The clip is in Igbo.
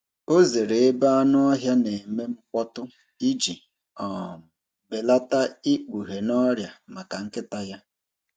Ọ zere ebe anụ ọhịa na-eme mkpọtụ iji um belata ikpughe n’ọrịa maka nkịta ya.